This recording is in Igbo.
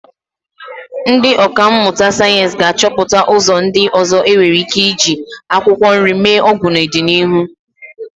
Ndị ọkà mmụta sayensị ga-achọpụta ụzọ ndị ọzọ e nwere ike eji akwụkwọ nri eme ọgwụ n'ọdịnihu.